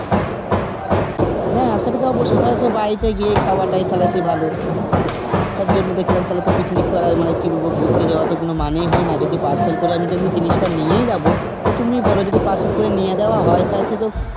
হ্যাঁ সেটা তো অবশই তাহলে সে বাড়িতে গিয়ে খাওয়াটাই সেই ভালো. তার জন্য দেখলাম তাহলে তো picnic করা মানে কি বলব ঘুরতে যাওয়ার কোনো মানেই হয়না. যদি parcel করে যদি আমি জিনিসটা নিয়েই যাবো তা তুমি বলো যদি parcel করে যদি নিয়ে যাওয়া হয় তাহলে সে তো,